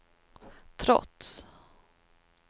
trots